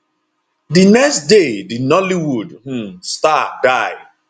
di next day di nollywood um star die